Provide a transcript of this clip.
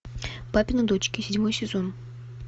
папины дочки седьмой сезон